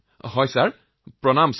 ঠিক আছে মহোদয় প্ৰণাম